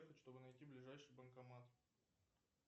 чтобы найти ближайший банкомат